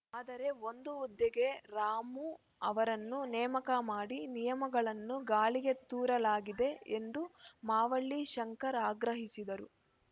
ಆದರೆ ಒಂದು ಹುದ್ದೆಗೆ ರಾಮು ಅವರನ್ನು ನೇಮಕ ಮಾಡಿ ನಿಯಮಗಳನ್ನು ಗಾಳಿಗೆ ತೂರಲಾಗಿದೆ ಎಂದು ಮಾವಳ್ಳಿ ಶಂಕರ್ ಆಗ್ರಹಿಸಿದರು